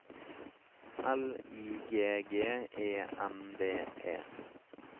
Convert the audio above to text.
L I G G E N D E